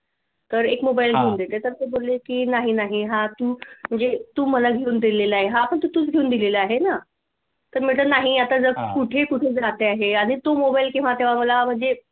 तर एक मोबाईल घेऊन देते तर ते बोलले कि नाही नाही हा तू म्हणजे तू मला घेऊन दिलेला हा पण तर तूच घेऊन दिलेला आहे ना तर म्हटलं नाही आता जग कुठे कुठे जाते आहे आणि तू मोबाईल केव्हा तेव्हा मला म्हणजे